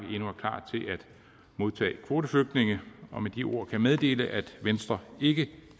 modtage kvoteflygtninge og med de ord kan jeg meddele at venstre ikke